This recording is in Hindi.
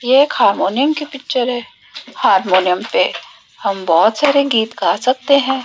ये एक हारमोनियम की पिक्चर है हारमोनियम पे हम बहोत सारे गीत गा सकते हैं।